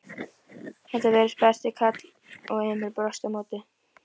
Þetta virtist besti karl og Emil brosti á móti.